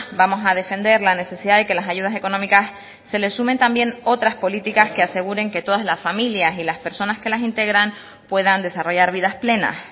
vamos a defender la necesidad de que las ayudas económicas se le sumen también otras políticas que aseguren que todas las familias y las personas que las integran puedan desarrollar vidas plenas